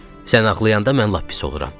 Sən ağlayanda mən lap pis oluram, dedi.